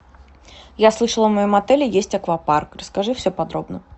я слышала в моем отеле есть аквапарк расскажи все подробно